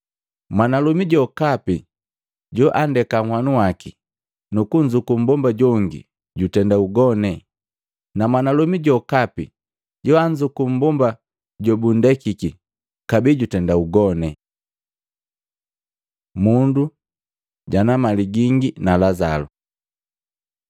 “Mwanalomi jokapi joandeka nhwanu waki nukunzuku mbomba jongi jutenda ugone, na mwanalomi jokapi joanzuku mmbomba jobunndekiki kabee jutenda ugone. Mundu jana mali gingi na Lazalo